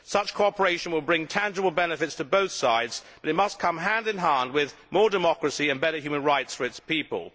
Such cooperation will bring tangible benefits to both sides, but it must come hand in hand with more democracy and better human rights for its people.